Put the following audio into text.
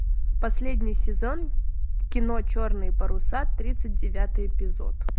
последний сезон кино черные паруса тридцать девятый эпизод